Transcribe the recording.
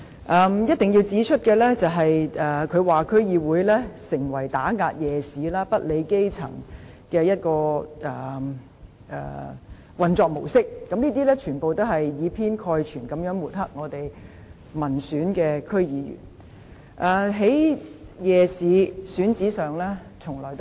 我一定要指出的是，她說區議會成為打壓夜市、不理基層的運作模式，這些全部也是以偏概全地抹黑民選區議員。